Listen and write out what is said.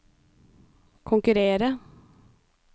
konkurrere